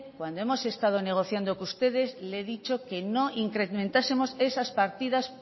cuando hemos estado negociando con ustedes le he dicho que no incrementásemos esas partidas